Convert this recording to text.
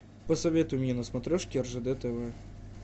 посоветуй мне на смотрешке ржд тв